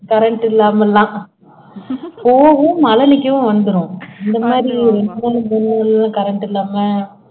current இல்லாமல்லாம் போகும் மழை நிக்கும் வந்துரும் இந்த மாதிரி current இல்லாம